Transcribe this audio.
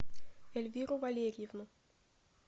эльвиру валерьевну